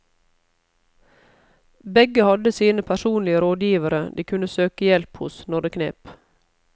Begge hadde sine personlige rådgivere de kunne søke hjelp hos når det knep.